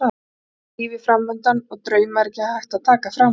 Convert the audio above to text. Allt lífið er framundan og drauma er ekki hægt að taka frá manni.